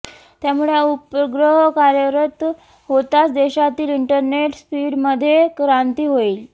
त्यामुळे हा उपग्रह कार्यरत होताच देशातील इंटरनेट स्पीडमध्ये क्रांती येईल